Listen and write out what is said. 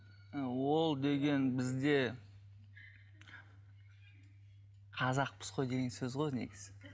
ол деген бізде қазақпыз ғой деген сөз ғой негізі